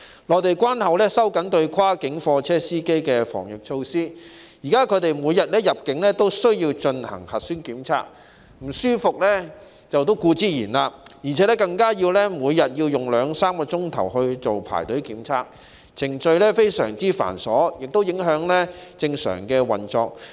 內地關口收緊對跨境貨車司機的防疫措施，現時他們每天入境時需進行核酸檢測，感到不舒服是當然的，加上每天要用兩三個小時排隊做檢測，程序非常繁瑣，亦影響日常運作。